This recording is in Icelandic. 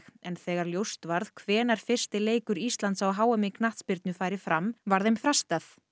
en þegar ljóst varð hvenær fyrsti leikur Íslands á h m í knattspyrnu færi fram var þeim frestað